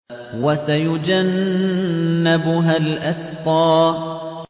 وَسَيُجَنَّبُهَا الْأَتْقَى